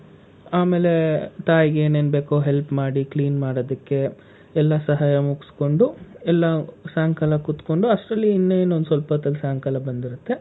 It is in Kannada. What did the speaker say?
ಆಮೇಲೆ ತಾಯಿಗೇನೇನು ಬೇಕು help ಮಾಡಿ clean ಮಾಡೋದಕ್ಕೆ ಎಲ್ಲ ಸಹಾಯ ಮುಗ್ಸ್ಕೊಂಡು ಎಲ್ಲಾ ಸಾಯಂಕಾಲ ಕುತ್ಕೊಂಡು ಅಷ್ಟ್ರಲ್ಲಿ ಇನ್ನೇನು ಸ್ವಲ್ಪ ಹೊತ್ತಿಗೆ ಸಾಯಂಕಾಲ ಬಂದಿರುತ್ತೆ.